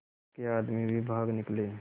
उसके आदमी भी भाग निकले